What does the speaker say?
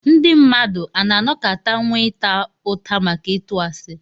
Ndí mmadụ a nà-anọkàtà nwé ịtá ụtà maka ịtụ àsị